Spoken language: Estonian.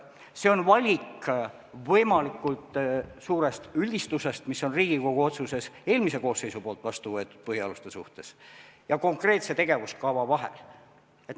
See on valik võimalikult suure üldistuse, mis on Riigikogu otsusena eelmises koosseisus vastu võetud põhialuste suhtes, ja konkreetse tegevuskava vahel.